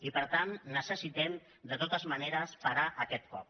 i per tant necessitem de totes maneres parar aquest cop